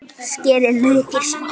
Skerið laukinn smátt.